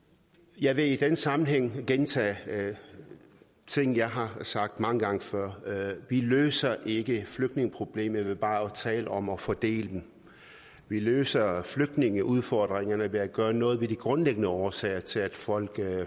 jeg vil i den sammenhæng gentage ting jeg har sagt mange gange før vi løser ikke flygtningeproblemet ved bare at tale om at fordele dem vi løser flygtningeudfordringerne ved at gøre noget ved de grundlæggende årsager til at folk